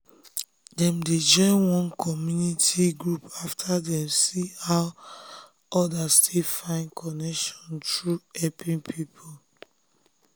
dem dem um join one community group after dem see how others take find connection through helping people.